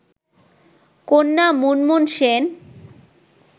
কন্যা মুনমুন সেন